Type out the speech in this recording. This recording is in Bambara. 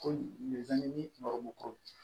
Ko